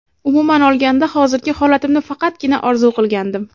Umuman olganda hozirgi holatimni faqatgina orzu qilgandim.